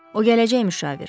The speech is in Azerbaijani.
O gələcək müşavir.